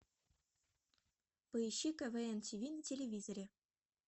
поищи квн тиви на телевизоре